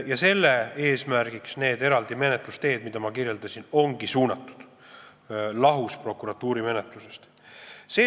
Ja sellele ongi suunatud need eraldi menetlused, mida ma kirjeldasin ja mis on lahus prokuratuuri menetlusest.